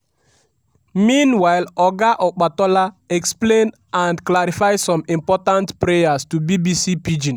meanwhile oga opatola explain and clarify some important prayers to bbc pidgin.